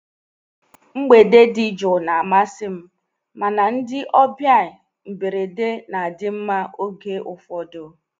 mgbede di jụụ na amasị m, mana ndị ọbịa mberede na-adị mma oge ụfọdụ